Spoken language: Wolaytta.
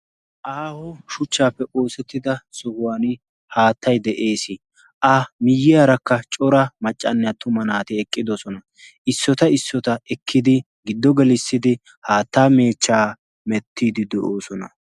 aaho shuchchaappe oosettida sohuwan haattay de'ees a miyyiyaarakka cora maccanne attuma naati eqqidosona issota issota ekkidi giddo gelissidi haattaa meechchaa mettiidi de'oosona